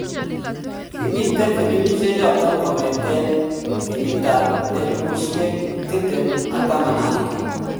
Kimiten filimeshechoton kongeten 2011